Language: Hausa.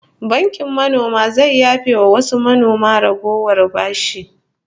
Bankin manoma zai yafe wa wasu manoma ragowar bashi